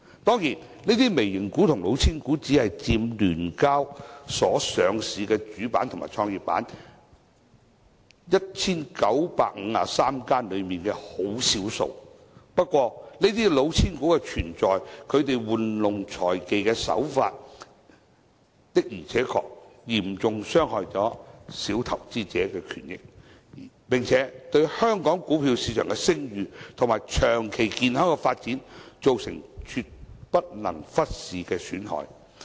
當然，這些"微型股"和"老千股"只佔聯交所 1,953 間上市的主板和創業板公司的少數，不過，這些"老千股"的存在，其玩弄財技的手法，的而且確嚴重傷害小投資者的權益，並且對香港股票市場的聲譽和長遠健康發展造成絕不能忽視的損害。